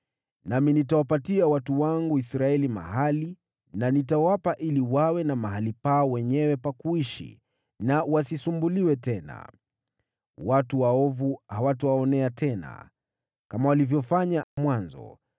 Nami nitawapatia watu wangu Israeli mahali na nitawapa ili wawe na mahali pao wenyewe pa kuishi na wasisumbuliwe tena. Watu waovu hawatawaonea tena, kama walivyofanya mwanzoni,